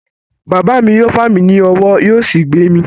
Bàbá mi yóò fà mí ní ọwọ́ yóò sì gbé mi.